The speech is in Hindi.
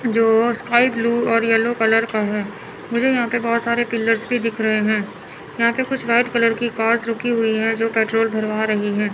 जो स्काई ब्लू और येलो कलर का है मुझे यहां पे बहुत सारे पिलर्स भी दिख रहे हैं यहां पे कुछ व्हाइट कलर की कार्स रुकी हुई हैं जो पेट्रोल भरवा रही हैं।